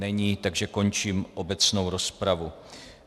Není, takže končím obecnou rozpravu.